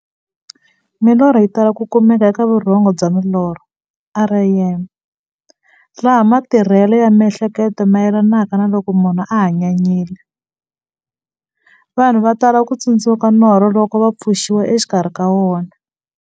Milorho yi tala ku kumeka eka vurhongo bya milorho REM, laha matirhele ya mihleketo mayelanaka na loko munhu a hanyanyile. Vanhu va tala ku tsundzuka norho loko va pfuxiwa exikarhi ka wona.